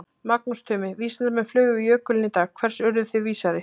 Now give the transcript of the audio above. Magnús Tumi, vísindamenn flugu yfir jökulinn í dag, hvers urðuð þið vísari?